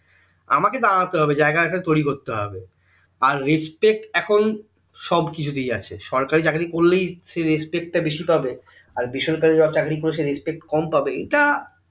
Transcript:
আমাকে দাঁড়াতে হবে জায়গা একটা তৈরি করতে হবে আর respect এখন সব কিছুতেই আছে সরকারী চাকরী করলেই সে respect টা বেশি পাবে আর বেসরকারী চাকরী যারা করে সে respect কম পাবে এটা